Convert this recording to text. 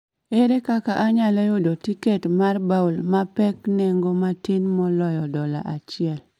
Ere kaka anyalo yudo tiket mag bowl mapek nengo matin moloyo dola achiel